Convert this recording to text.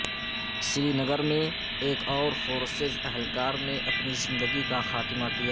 سرینگرمیں ایک اور فورسز اہلکار نے اپنی زندگی کا خاتمہ کیا